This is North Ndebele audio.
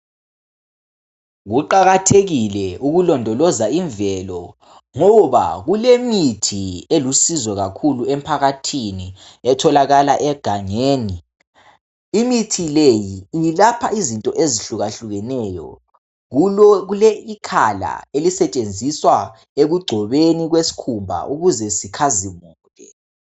Kuqakathekile ukulondoloza imvelo , ngoba kulemithi elusizo kakhulu emphakathini etholakala egangeni imithi le ilapha izinto ezehlukahlukaneyo kule ikhala elisentshenziswa ekugcobeni kwesikhumba ukuze sikhazimule.